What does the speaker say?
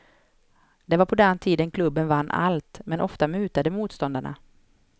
Det var på den tiden klubben vann allt, men ofta mutade motståndarna.